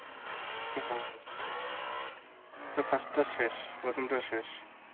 হ্যা ঠিক. কাজটা শেষ. প্রথমটা শেষ.